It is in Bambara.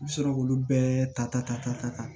I bɛ sɔrɔ k'olu bɛɛ ta